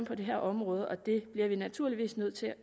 på det her område og det bliver vi naturligvis nødt til at